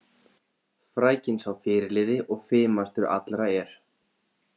Frækinn sá fyrirliði og fimastur allra er.